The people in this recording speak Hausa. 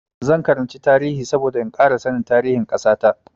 Zan karanci tarihi saboda in ƙara sanin tarihin ƙasa ta.